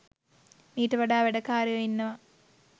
මීට වඩා වැඩ කාරයෝ ඉන්නවා.